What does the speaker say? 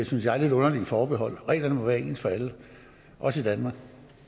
synes jeg lidt underlige forbehold reglerne må være ens for alle også